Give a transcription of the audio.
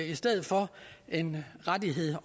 i stedet for en rettighed